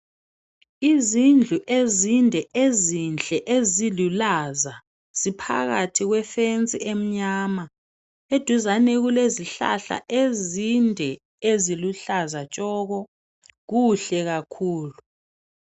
Izindlu ezinde ezinhle ezilulaza ziphakathi kwefensi emnyama, eduzane kulezihlahla ezinde eziluhlaza tshoko. Kuhle kakhulu.